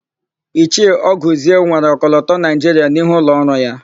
Ichie Ọgụzie nwere ọkọlọtọ Naịjiria n'ihu ụlọọrụ ya.